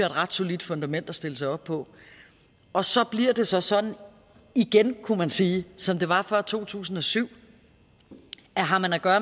ret solidt fundament at stille sig op på og så bliver det så sådan igen kunne man sige som det var før to tusind og syv at har man at gøre